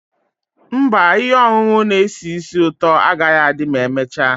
Mba, ihe ọṅụṅụ na-esi ísì ụtọ agaghị adị ma emechaa.